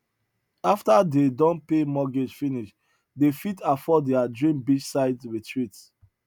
after dey don pay mortgage finish dey fit afford their dream beachside retreat